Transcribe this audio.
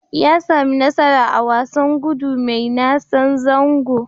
Ya sami nasara a wasan gudu mai nasan zango.